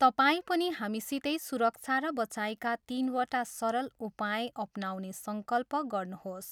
तपाईँ पनि हामीसितै सुरक्षा र बचाइका तिनवटा सरल उपाय अपनाउने सङ्कल्प गर्नुहोस्।